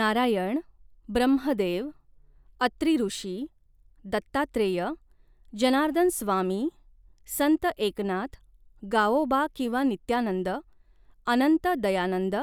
नारायण ब्रह्मदेव अत्री ऋषी दत्तात्रेय जनार्दनस्वामी संत एकनाथ गावोबा किंवा नित्यानंद अनंत दयानंद